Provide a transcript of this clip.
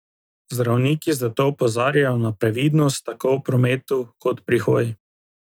Zdravniki zato opozarjajo na previdnost tako v prometu kot pri hoji.